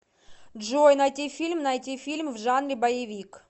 джой найти фильм найти фильм в жанре боевик